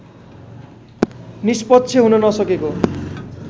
निष्पक्ष हुन नसकेको